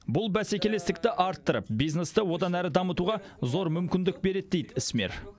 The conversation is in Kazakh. бұл бәсекелестікті арттырып бизнесті одан әрі дамытуға зор мүмкіндік береді дейді ісмер